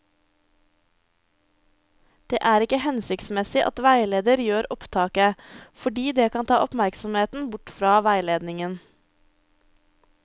Det er ikke hensiktsmessig at veileder gjør opptaket, fordi det kan ta oppmerksomheten bort fra veiledningen.